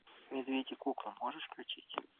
медведь и кукла можешь включить